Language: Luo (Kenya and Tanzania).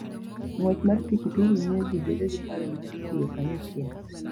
Ng'wech mar pikipiki miyo ji bedo gi paro mar tiyo kanyachiel.